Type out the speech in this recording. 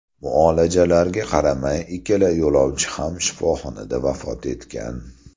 Muolajalarga qaramay, ikkala yo‘lovchi ham shifoxonada vafot etgan.